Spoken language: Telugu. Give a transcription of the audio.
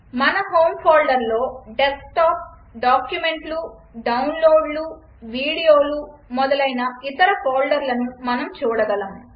మన హోమ్ ఫోల్డర్లో డెస్క్టాప్ డాక్యుమెంట్లు డౌన్లోడ్లు వీడియోలు మొదలైన ఇతర ఫోల్డర్లను మనం చూడగలము